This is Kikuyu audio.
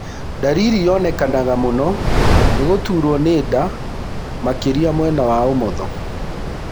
Ndariri yonekanaga mũno nĩ gũturwo nĩ nda makĩria mwena wa ũmotho.